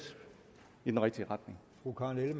i den rigtige retning